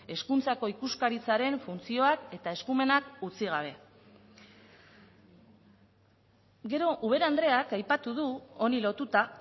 hezkuntzako ikuskaritzaren funtzioak eta eskumenak utzi gabe gero ubera andreak aipatu du honi lotuta